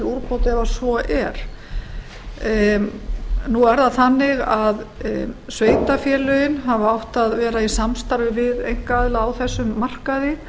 úrbóta ef svo er nú er það þannig að sveitarfélögin hafa átt að vera í samstarfi við einkaaðila á þessum markaði